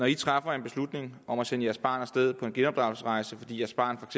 de træffer en beslutning om at sende deres barn af sted på en genopdragelsesrejse fordi deres barn